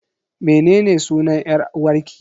Mene ne sunan 'yar uwarki?